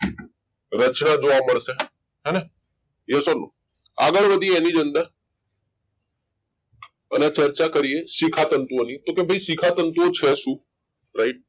રચના જોવા મળશે હેને yes or no આગળ વધીએ એની અંદર અને ચર્ચા કર્યા શિખા તંતુઓને કે ભાઈ શિખા તંતુ છે શું right